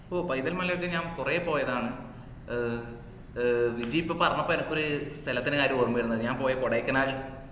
ഒഹ് പൈതൽ മലയിലൊക്കെ ഞാൻ കൊറേ പോയതാണ് ഏർ ഏർ വിജി ഇപ്പൊ പറഞ്ഞപ്പോ എനിയ്ക്കൊരു സ്ഥലത്തിൻറെ കാര്യം ഓർമവരുന്ന ഞാൻ പോയ കൊടൈക്കനാൽ